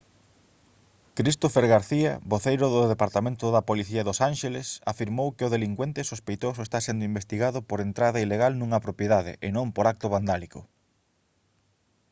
christopher garcía voceiro do departamento da policía dos ánxeles afirmou que o delincuente sospeitoso está sendo investigado por entrada ilegal nunha propiedade e non por acto vandálico